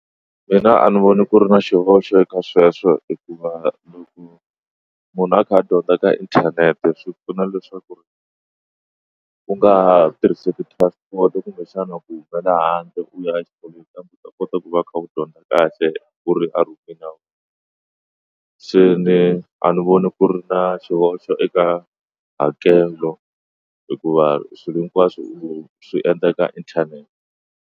Mina a ni voni ku ri na xihoxo ka sweswo hikuva loko munhu a kha a dyondza ka inthanete swi pfuna leswaku ri u nga tirhisi ti-transport kumbexana ku humela handle u ya u ta kota ku va u kha u dyondza kahle ku ri a run'wini ya wena se ni a ni voni ku ri na xihoxo eka hakelo hikuva swilo hinkwaswo swi endlaka inthanete.